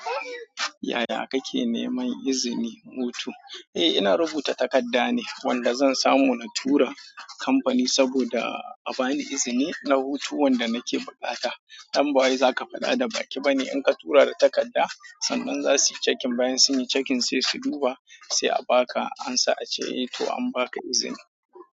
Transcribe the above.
Yaya kake neman izini hutu? Eh, ina rubuta takarda ne wanda zan samu na tura kamfani saboda a bani izini na hutu wanda nake bukata. Dan ba zaka faɗa da baƙi bane in ka tura da takarda. Sannan za su yi checking bayan sun yi checking sai su duba sai a baka. An sa a ce, eh to an baka izini.